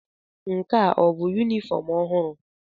Nke a ọ bụ yunifọọm ọhụrụ?